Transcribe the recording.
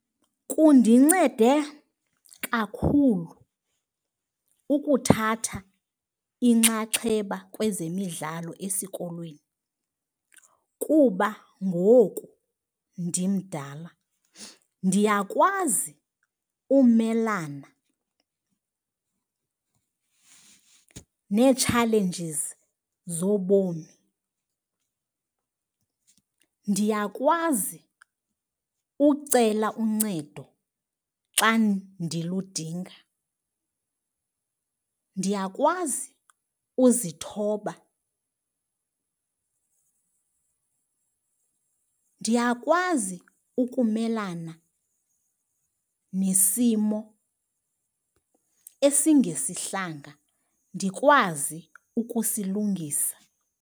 Kundincede kakhulu ukuthatha inxaxheba kwezemidlalo esikolweni kuba ngoku ndimdala ndiyakwazi umelana nee-challenges zobomi, ndiyakwazi ucela uncedo xa ndiludinga. Ndiyakwazi uzithoba, ndiyakwazi ukumelana nesimo esingesihlanga ndikwazi ukusilungisa.